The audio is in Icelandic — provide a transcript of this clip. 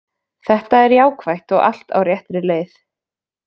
Þetta er jákvætt og allt á réttri leið.